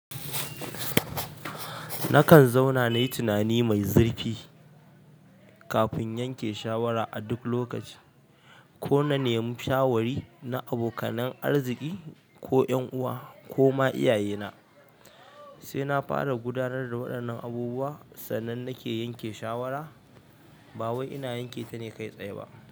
Nakan zauna nayi tunani mai zurfi kafin yanke shawara a duk lokaci. Ko na nemi shawari na abokanan arziki ko ƴan'uwa ko ma iyaye na, sai na fara gudanar da waɗannan abubuwa sannan nake yanke shawara. Ba wai ina yanke tane kai tsaye ba.